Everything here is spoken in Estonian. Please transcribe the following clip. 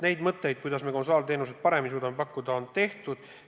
Neid mõtteid, kuidas me konsulaarteenuseid paremini suudame pakkuda, meil on.